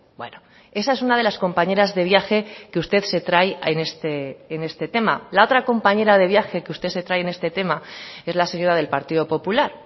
bueno esa es una de las compañeras de viaje que usted se trae en este tema la otra compañera de viaje que usted se trae en este tema es la señora del partido popular